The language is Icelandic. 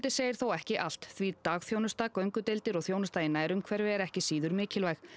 segir þó ekki allt því dagþjónusta göngudeildir og þjónusta í nærumhverfi er ekki síður mikilvæg